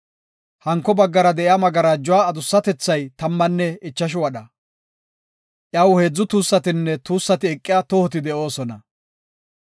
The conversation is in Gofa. Hanko baggara de7iya magarajuwa adussatethay tammanne ichashu wadha. Iyaw heedzu tuussatinne tuussati eqiya tohoti de7oosona.